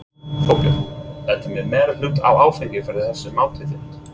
Þorbjörn: Ertu með meirihluta á Alþingi fyrir þessu mati þínu?